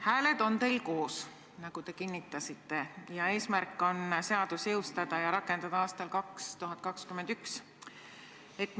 Hääled on teil koos, nagu te kinnitasite, ning eesmärk on seadus jõustada ja seda aastal 2021 rakendama hakata.